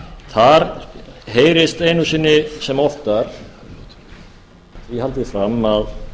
þar heyrist einu sinni sem oftar því haldið fram að